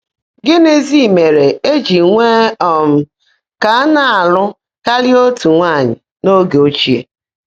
Gị́nízị́ mèèré è jị́ kwèé um kà á ná-àlụ́ kárị́á ótú nwáanyị́ n’óge óchìè?